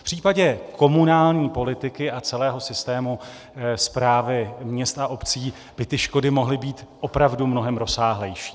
V případě komunální politiky a celého systému správy měst a obcí by škody mohly být opravdu mnohem rozsáhlejší.